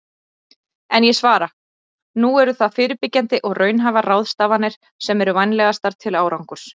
En ég svara: Nú eru það fyrirbyggjandi og raunhæfar ráðstafanir sem eru vænlegastar til árangurs.